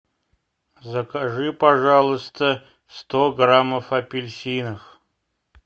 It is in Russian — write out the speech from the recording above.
закажи пожалуйста сто граммов апельсинов